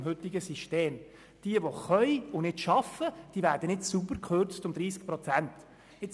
Wer arbeiten kann, es aber nicht tut, wird nicht sauber um 30 Prozent gekürzt.